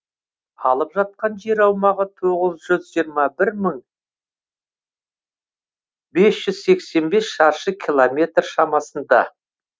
алып жатқан жер аумағы тоғыз жүз жиырма бір мың бес жүз сексен бес шаршы километр шамасында